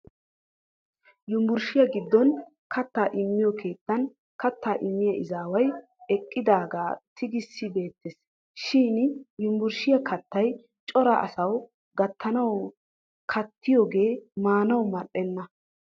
Yunvurushiyaa giddon kattaa immiyo keettan kattaa immiya izaaway ekkiyaagaa tigiissi beettes. Shin yunvurushiyaa kattay cora asawu gattanawu gattiyoogee maanawu ma'enna.